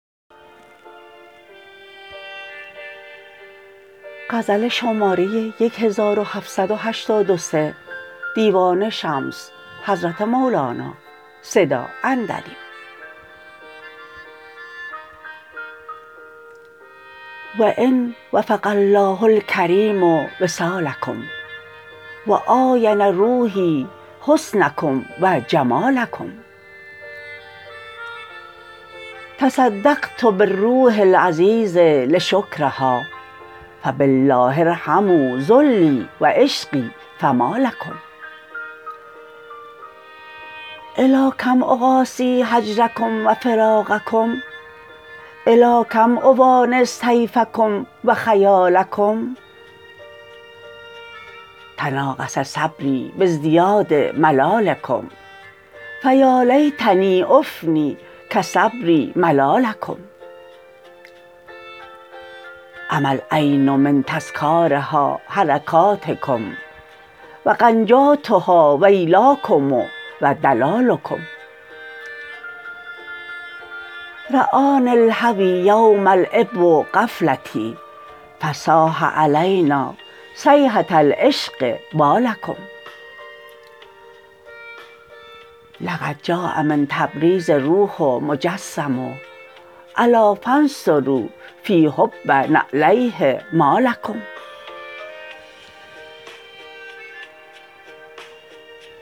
فان وفق الله الکریم وصالکم و عاین روحی حسنکم و جمالکم تصدقت بالروح العزیز لشکرها فبالله ارحموا ذلی و عشقی فما لکم الی کم اقاسی هجرکم و فراقکم الی کم اؤانس طیفکم و خیالکم تناقص صبری بازدیاد ملالکم فیالیتنی افننی کصبری ملالکم عمی العین من تذکارها حرکاتکم و غنجاتها ویلاکم و دلالکم رآنی الهوی یوما الاعب غفلتی فصاح علینا صیحه العشق والکم لقد جاء من تبریز روح مجسم الا فانثروا فی حب نعلیه ما لکم